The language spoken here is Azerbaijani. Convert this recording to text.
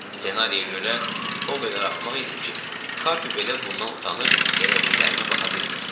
Ssenariyə görə o qədər axmaq idim ki, Kapi belə bundan utanıb elədiklərimə baxa bilmirdi.